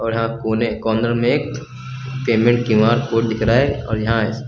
और हाँ कोने कॉर्नर में एक पेमेंट क्यू_आर कोड दिख रहा है और यहां --